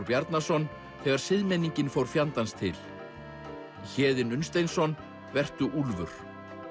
Bjarnason þegar siðmenningin fór fjandans til Héðinn Unnsteinsson vertu úlfur